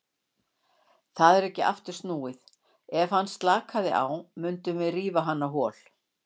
Það er ekki aftur snúið, ef hann slakaði á mundum við rífa hann á hol.